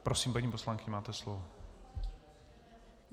Prosím, paní poslankyně, máte slovo.